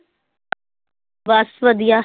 ਬਸ ਵਧੀਆ।